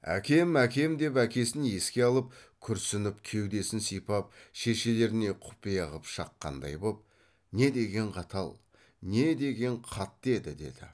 әкем әкем деп әкесін еске алып күрсініп кеудесін сипап шешелеріне құпия қып шаққандай боп не деген қатал не деген қатты еді деді